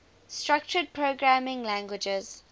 structured programming languages